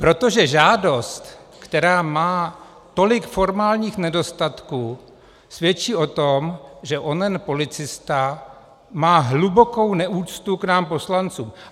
Protože žádost, která má tolik formálních nedostatků, svědčí o tom, že onen policista má hlubokou neúctu k nám poslancům.